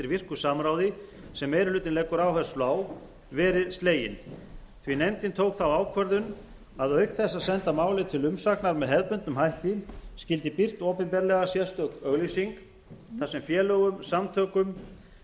virku samráði sem meiri hlutinn leggur áherslu á verið sleginn því nefndin tók þá ákvörðun að auk þess að senda málið til umsagnar með hefðbundnum hætti skyldi birt opinberlega sérstök auglýsing þar sem félögum samtökum